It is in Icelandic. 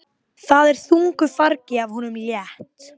En stundum ræðum við málin meira svona almennt.